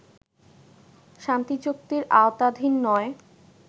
শান্তিচুক্তির আওতাধীন নয়